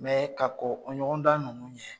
ka kɔn o ɲɔgɔndan ninnu ɲɛ